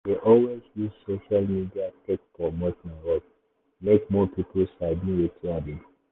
i dey always use social media take promote my work make more people sabi wetin i dey do.